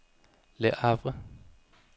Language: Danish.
Le Havre